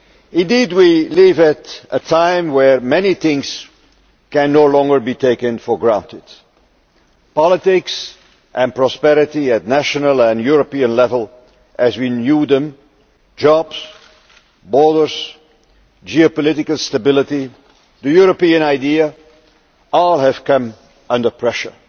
Indeed, we live at a time where many things can no longer be taken for granted. Politics and prosperity at national and European level as we knew them, jobs, borders, geopolitical stability and the European idea all have come under pressure.